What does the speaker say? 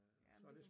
Jamen det jo